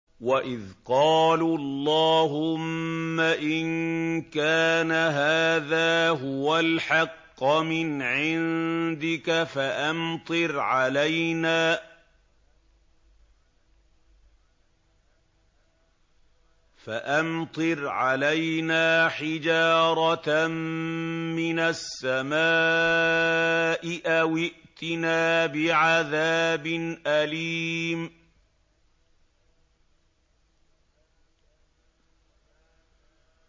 وَإِذْ قَالُوا اللَّهُمَّ إِن كَانَ هَٰذَا هُوَ الْحَقَّ مِنْ عِندِكَ فَأَمْطِرْ عَلَيْنَا حِجَارَةً مِّنَ السَّمَاءِ أَوِ ائْتِنَا بِعَذَابٍ أَلِيمٍ